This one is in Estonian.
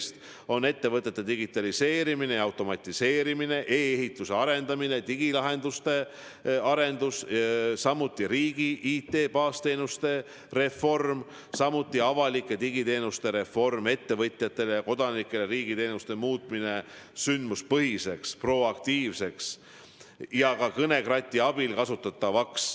Eesmärk on ettevõtete digitaliseerimine ja automatiseerimine, e-ehituse arendamine, digilahenduste arendus, samuti riigi IT-baasteenuste reform, avalike ettevõtjatele ja kodanikele mõeldud digiteenuste reform, riigi teenuste muutmine sündmuspõhisteks, proaktiivseteks ja ka kõnekrati abil kasutatavateks.